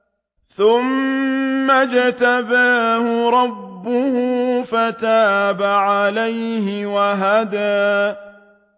ثُمَّ اجْتَبَاهُ رَبُّهُ فَتَابَ عَلَيْهِ وَهَدَىٰ